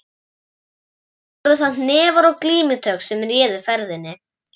Og nú voru það hnefar og glímutök sem réðu ferðinni.